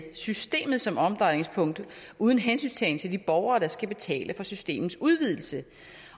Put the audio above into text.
systemet som omdrejningspunkt uden hensyntagen til de borgere der skal betale for systemets udvidelse